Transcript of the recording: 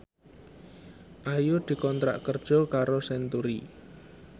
Ayu dikontrak kerja karo Century